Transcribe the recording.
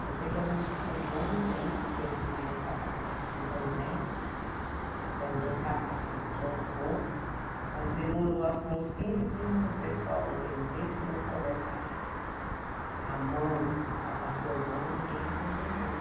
Eu sei que a gente ficou um bom tempo, teve na época a Faculdade Santo André, que também capacitou um pouco, mas demorou uns quinze dias para o pessoal entender que se não colocasse a mão para bater o bolo, ninguém ia comer bolo.